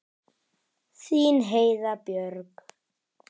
Þín Heiða Björg.